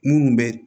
Minnu bɛ